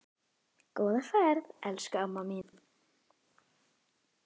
Góða ferð, elsku amma mín.